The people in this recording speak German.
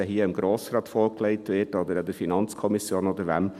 Ob er hier dem Grossen Rat oder der FiKo oder jemand anderem vorgelegt wird: